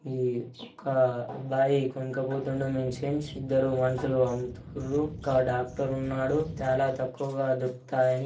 ఒక అబ్బాయి కొనక్కా పోతుండు మెడిసిన్స్. ఇద్దరూ మనుషులు అమ్ముతారు .ఒక డాక్టర్ ఉన్నాడు. చాలా తక్కువ దొరుకుతాయని--